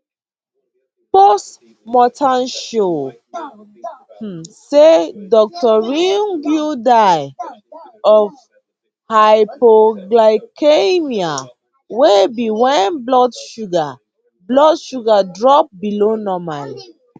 post mortem show um say dr riungu die of hypoglycaemia wey be wen blood sugar blood sugar drop below normal